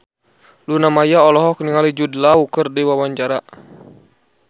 Luna Maya olohok ningali Jude Law keur diwawancara